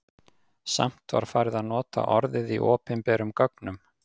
Samt var farið að nota orðið í opinberum gögnum.